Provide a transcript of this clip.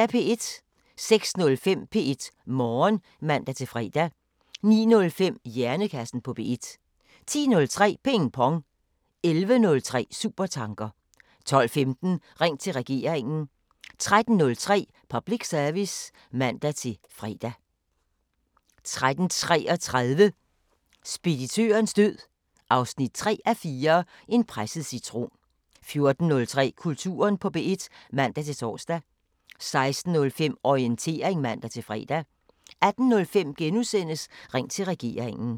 06:05: P1 Morgen (man-fre) 09:05: Hjernekassen på P1 10:03: Ping Pong 11:03: Supertanker 12:15: Ring til Regeringen 13:03: Public Service (man-fre) 13:33: Speditørens død 3:4 – En presset citron 14:03: Kulturen på P1 (man-tor) 16:05: Orientering (man-fre) 18:05: Ring til Regeringen *